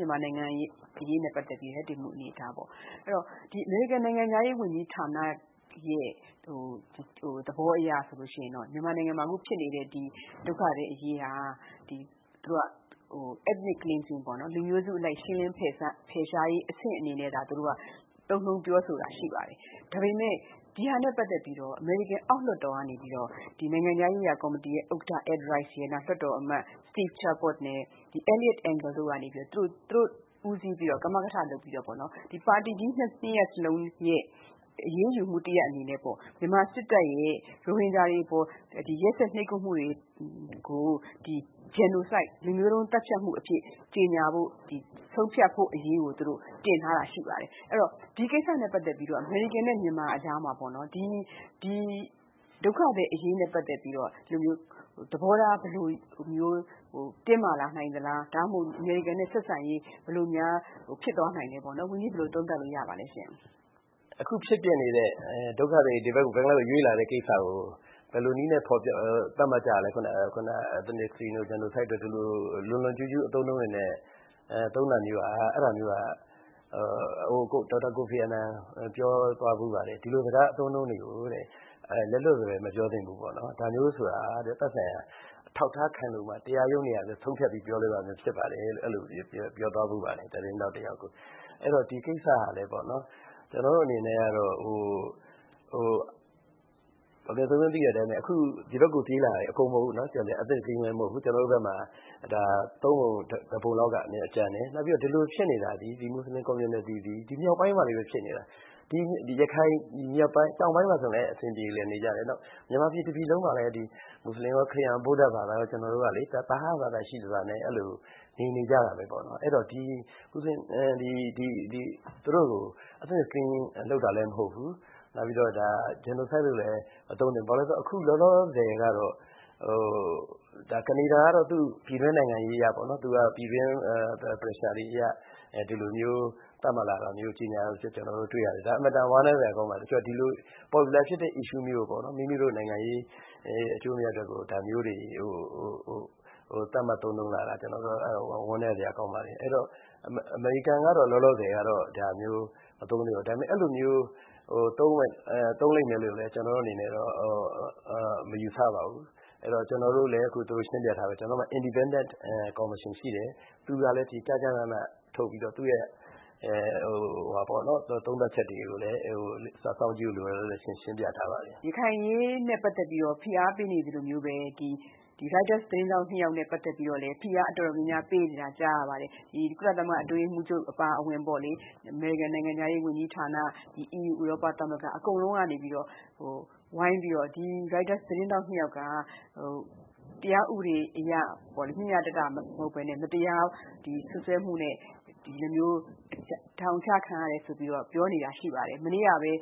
မြန်မာနိုင်ငံအရေးနဲ့ပတ်သက်ပြီး အမေရိကန်ရဲ့ ရပ်တည်မှုအနေအထားပေါ့… အမေရိကန်နိုင်ငံခြားရေးဝန်ကြီးဌာနရဲ့ သဘောအရဆိုလို့ရှိရင်တော့ မြန်မာနိုင်ငံမှာ အခုဖြစ်နေ တဲ့ ဒုက္ခသည်အရေးဟာ ethnic cleansing ပေါ့၊ လူမျိုးစုအလိုက် ရှင်းလင်းဖယ်ရှားရေး အဆင့် အနေနဲ့သာ သုံးနှုန်းပြောဆိုတာ ရှိပါတယ်။ ဒါပေမဲ့ ဒီဟာနဲ့ပတ်သက်ပြီး အမေရိကန် အောက်လွှတ်တော်ကနေပြီးတော့ နိုင်ငံခြားရေး ရာကော်မတီဥက္ကဌ Ed Royce ရယ်၊ လွှတ်တော်အမတ် Steve Chabot နဲ့ Eliot Engle တို့က ဦးစီးပြီးတော့ ပါတီကြီးနှစ်ရပ်စလုံးရဲ့ အရေးယူမှုတရပ်အနေနဲ့ မြန်မာစစ်တပ်ရဲ့ ရိုဟင်ဂျာတွေအပေါ် ရက်စက်နှိပ်ကွပ်မှုတွေကို genocide လူမျိုးတုံးသတ်ဖြတ်မှုအဖြစ် ကြေညာဖို့၊ ဆုံးဖြတ်ဖို့အရေးကို တင်ထားတာရှိပါတယ်။ အမေရိကန်နဲ့ မြန်မာအကြားမှာ ဒီဒုက္ခသည်အရေးနဲ့ ပတ်သက်ပြီးတော့ သဘောထား တင်းမာ လာနိုင်သလား၊ ဒါမှမဟုတ် အမေရိကန်နဲ့ဆက်ဆံရေး ဘယ်လိုများဖြစ်သွားနိုင်ပါလဲ၊ ဝန်ကြီး ဘယ်လို သုံးသပ်လို့ရပါလဲရှင့်။ “အခုဖြစ်ပျက်နေတဲ့ ဒုက္ခသည်တွေ ဘင်္ဂလားဒေ့ရှ်ဘက်ကို ရွေ့လာတဲ့ကိစ္စကို ဘယ်လို နည်းနဲ့ သတ်မှတ်ကြလဲ… ethnic cleansing တို့၊ genocide တို့ ဒီလို လွန်လွန်ကျူးကျူး အသုံးတွေနဲ့ သုံးတာမျိုးဟာ ဒေါက်တာ ကိုဖီ အာနန် ပြောသွားဖူး ပါတယ်၊ ဒီလိုစကား အသုံး အနှုန်းတွေကိုတဲ့ လက်လွတ်စပယ် မပြောသင့်ဘူးပေါ့ နော်… ဒါမျိုးဆိုတာကတဲ့ သက်ဆိုင်ရာ အထောက်အထားခိုင်လုံမှ တရားရုံးတွေကပဲ ဆုံးဖြတ်ပြီး ပြောလို့ရတဲ့ဟာမျိုး ဖြစ်ပါတယ်လို့ အဲဒီလိုမျိုး ပြောသွားဖူးပါတယ်၊ သတင်းထောက် တယောက်ကို။ “အဲဒီတော့ ဒီကိစ္စဟာ ကျနော်တို့အနေနဲ့ကတော့ ဒေါ်ခင်စိုးဝင်း သိတဲ့အတိုင်းပဲ၊ အခု ဒီဘက်ကို ပြေးလာတာ အကုန်မဟုတ်ဘူး နော်၊ ethnic cleansing လည်းမဟုတ်ဘူး၊ ကျနော်တို့ဘက်မှာ သုံးပုံတပုံလောက်က ကျန်တယ်။ နောက်ပြီးတော့ ဒီလိုဖြစ်နေတာ သည်၊ ဒီမွတ်ဆလင် community သည် မြောက်ပိုင်းမှာလေးပဲဖြစ်နေတာ၊ ရခိုင်တောင် ပိုင်းမှာဆိုရင်လည်း အဆင်ပြေနေကြတယ်၊ မြန်မာပြည်တပြည်လုံးမှာလည်း မွတ်ဆလ င်ရော၊ ခရစ်ယာန်ရော၊ ဗုဒ္ဓ ဘာသာရော သဟဇာတရှိစွာနဲ့ နေနေကြတာပဲ။ အဲဒီတော့ သူတို့ကို ethnic cleansing လုပ်တာလည်းမဟုတ်ဘူး၊ နောက်ပြီးတော့ genocide လို့လည်း မသုံးသင့်ဘူး။ “အခုလောလောဆယ်ကတော့ ကနေဒါကတော့ သူ့ပြည်တွင်းနိုင်ငံရေးအရပေါ့၊ ပြည်တွင်း pressure တွေအရ ဒီလိုမျိုး သတ်မှတ်လာတာမျိုး ကျနော်တို့တွေ့ရတယ်။ ဒါ အင်မတန် ဝမ်းနည်းစရာကောင်းပါတယ်။ တချို့က ဒီလို ပေါ်ပြူလာဖြစ်တဲ့ issue မျိုးကို မိမိတို့နိုင်ငံရေး အကျိုးအမြတ်အတွက်ကို ဒါမျိုးတွေ သတ်မှတ်သုံးနှုန်းလာတာ ဝမ်းနည်းစရာကောင်းပါတယ်။ “အဲဒီတော့ အမေရိကန်ကတော့ လောလောဆယ်ကတော့ ဒါမျိုး မသုံးသေးပါဘူး။ ဒါပေမဲ့ အဲဒီလိုမျိုး သုံးလိမ့်မယ်လို့လည်း ကျနော်တို့အနေနဲ့တော့ မယူဆပါဘူး။ ကျနော်တို့လည်း အခု သူတို့ကိုရှင်းပြထားပြီးပြီ။ ကျနော်တို့မှာ independent commission ရှိတယ်၊ သူ့ရဲ့သုံးသပ် ချက်တွေကိုလည်း စောင့်ကြည့်ဖို့လိုတယ်ဆိုတာ ရှင်းပြထားပါတယ်။” ရခိုင်အရေးနဲ့ပတ်သက်ပြီးတော့ ဖိအားပေးနေသလိုမျိုးပဲ ရိုက်တာသတင်းထောက် နှစ်ယောက်နဲ့ ပတ်သက်ပြီးတော့လည်း ဖိအားတော်တော်များများ ပေးနေတာ ကြားရပါတယ်။ ကုလသမဂ္ဂအတွင်းရေးမှူးချုပ် အပါအဝင်ပေါ့လေ၊ အမေရိကန်နိုင်ငံခြားရေးဝန်ကြီးဌာန၊ EU ဥရောပသမဂ္ဂ အကုန်လုံးကနေပြီးတော့ ဝိုင်းပြီးတော့ ဒီ ရိုက်တာသတင်းထောက် နှစ်ယောက် ဟာ တရားဥပဒေအရ မျှမျှတတမဟုတ်ဘဲနဲ့ မတရားစွပ်စွဲမှုနဲ့ ဒီလိုမျိုး ထောင်ချခံရတယ်ဆိုပြီး တော့ ပြောနေတာရှိပါတယ်။ မနေ့ကပဲ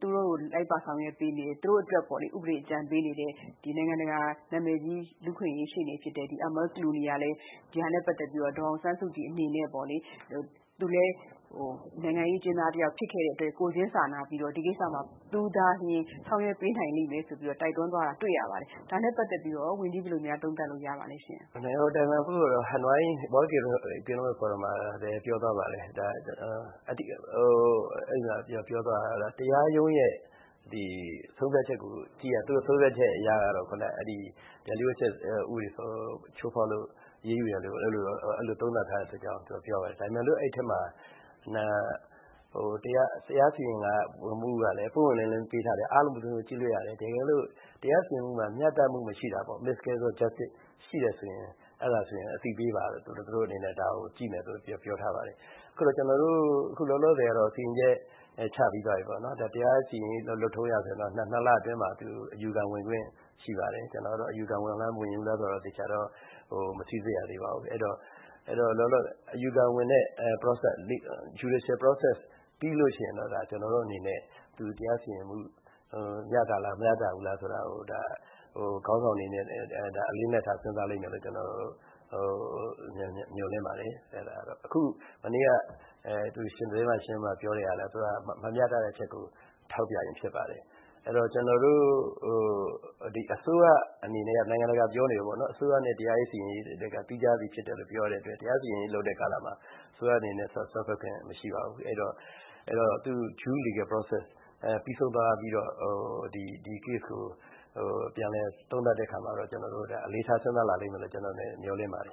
သူတို့အတွက် ဥပဒေအကြံပေးနေတဲ့ နိုင်ငံတကာ နာမည်ကြီး လူ့အခွင့်အရေးရှေ့နေဖြစ်တဲ့ Amal Clooney ကလည်း ဒီဟာနဲ့ ပတ်သက် ပြီးတော့ ဒေါ်အောင်ဆန်းစုကြည်အနေနဲ့ပေါ့လေ သူလည်း နိုင်ငံရေးအကျဉ်းသားတယောက် ဖြစ်ခဲ့တဲ့ အတွက် ကိုယ်ချင်းစာနာပြီးတော့ ဒီကိစ္စမှာ သူသာလျှင် ဆောင်ရွက်ပေးနိုင်လိမ့်မယ်ဆိုပြီးတော့ တိုက်တွန်းသွားတာ တွေ့ရပါတယ်။ ဒါနဲ့ပတ်သက်ပြီးတော့ရော ဝန်ကြီး ဘယ်လိုများ သုံးသပ်လို့ ရပါလဲရှင့်။ “နိုင်ငံတော်အတိုင်ပင်ခံပုဂ္ဂိုလ်က ဟနွိုင်း World Economic Forum မှာလည်း ပြောသွားပါတယ်။ တရားရုံးရဲ့ဆုံးဖြတ်ချက်ကို ကြည့်ရတာ သူ့ရဲ့ဆုံးဖြတ်ချက်အရ ကတော့ လျှို့ဝှက်ချက်အက်ဥပဒေကို ချိုးဖောက်လို့ အရေးယူတယ်လို့ သုံးသပ်ထား တယ်ဆိုတာ ပြောပါ တယ်။ ဒါပေမဲ့ အဲဒီထဲမှာ တရားစီရင်မှုကလည်း ပွင့်ပွင့် လင်းလင်းပေးထားတယ်၊ အားလုံး ဘယ်သူမဆို ကြည့်လို့ရတယ်၊ တကယ်လို့ တရား စီရင်မှုမှာ မျှတမှုမရှိတာပေါ့၊ Miscarriage of Justice ရှိတယ်ဆိုရင် အသိပေးပါ၊ ဒါကိုကြည့်မယ်ဆိုပြီးတော့ ပြောထားပါတယ်။ “အခုလောလောဆယ်ကတော့ စီရင်ချက် ချပြီးသွားပြီပေါ့။ တရားစီရင်ရေး လုပ်ထုံး အရဆိုရင် တော့ နှစ်လအတွင်းမှာ သူတို့ အယူခံဝင်ခွင့်ရှိပါတယ်။ အယူခံဝင်လား၊ မဝင်ဘူးလားဆိုတာ သေချာတော့ မစိစစ်ရသေးပါဘူး။ အဲဒီတော့ အယူခံဝင်တဲ့ judicial process ပြီးလို့ရှိရင်တော့ တရားစီရင်မှု မျှတလား မမျှတဘူးလားဆိုတာကို ခေါင်းဆောင်တွေအနေနဲ့ အလေးအနက်ထား စဉ်းစားလိမ့်မယ်လို့ ကျနော်တို့ မျှော်လင့်ပါတယ်။ “မနေ့က သတင်းစာရှင်းလင်းပွဲမှာ ပြောတဲ့ဟာလည်း သူတို့က မမျှတတဲ့အချက်ကို ထောက်ပြ ခြင်းဖြစ်ပါတယ်။ အစိုးရအနေနဲ့ကတော့ နိုင်ငံတကာ ပြောနေတယ်ပေါ့၊ အစိုးရနဲ့ တရားစီရင် ရေးက သီးခြားစီဖြစ်တယ်လို့ ပြောတဲ့အတွက် တရားစီရင်ရေး လုပ်တဲ့ကာလမှာ အစိုးရအနေနဲ့ စွက်ဖက်ခွင့်မရှိပါဘူး။ အဲဒီတော့ သူ့ due legal process ပြီးဆုံးသွားပြီးတော့ ဒီ case ကို ပြန်လည်သုံးသပ်တဲ့အခါမှာတော့ အလေးထား စဉ်းစား လာလိမ့်မယ်လို့ ကျနော့်အနေနဲ့ မျှော်လင့်ပါတယ်